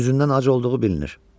Üzündən ac olduğu bilinir.